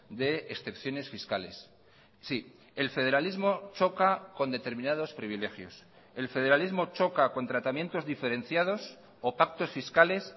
de excepciones fiscales sí el federalismo choca con determinados privilegios el federalismo choca con tratamientos diferenciados o pactos fiscales